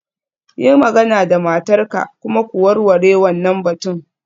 Yi magana da matarka kuma ku warware wannan batun.